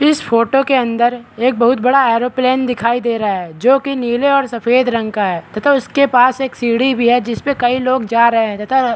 इस फोटो के अंदर एक बहुत बड़ा एयरोप्लेन दिखाई दे रहा है जो कि नीले और सफ़ेद रंग का है तथा उसके पास एक सीढ़ी भी है जिसपे कई लोग जा रहे है तथा --